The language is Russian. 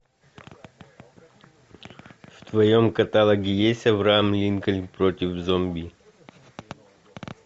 в твоем каталоге есть авраам линкольн против зомби